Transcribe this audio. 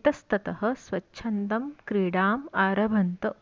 इतस्ततः स्वच्छन्दं क्रीडाम् आरभन्त